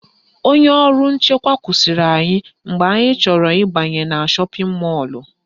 Onye ọrụ nchekwa kwụsịrị anyị mgbe anyị chọrọ ịbanye na shọpịn mọlụ